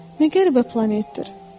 Nə qəribə planetdir.